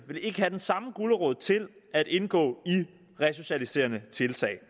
vil ikke have den samme gulerod til at indgå i resocialiserende tiltag